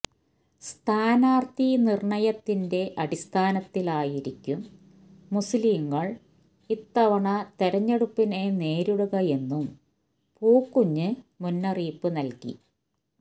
സ്ഥാനാര്ത്ഥി നിര്ണയത്തിന്റെ അടിസ്ഥാനത്തിലായിരിക്കും മുസ്ലീങ്ങള് ഇത്തവണ തെരഞ്ഞെടുപ്പിനെ നേരിടുകയെന്നും പുക്കൂഞ്ഞ് മുന്നറിയിപ്പ് നല്കി